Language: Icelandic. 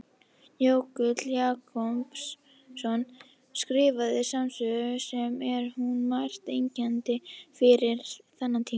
Jökull Jakobsson skrifaði smásögu sem er um margt einkennandi fyrir þennan tíma.